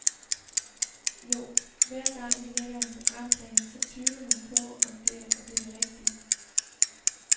Jo, hver gang vi lægger en programplan, så tvivler man jo på, om det er det rigtige .